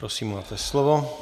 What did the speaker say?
Prosím, máte slovo.